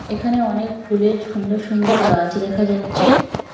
এখানে অনেক ফুলের সুন্দর সুন্দর গাছ দেখা যাচ্চে।